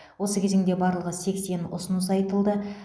осы кезеңде барлығы сексен ұсыныс айтылды